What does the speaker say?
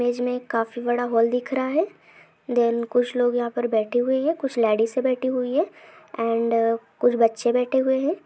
Image मे काफी बड़ा हॉल दिख रहा है दोन कुछ लोग यहा प बैठे हुए है कुछ लेडिसे बैठी हुई है एंड कुछ बच्चे बैठे हुए हैं।